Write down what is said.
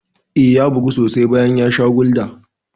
Eh, ya bugu sosai bayan ya sha Gulda.